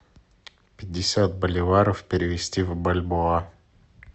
пятьдесят боливаров перевести в бальбоа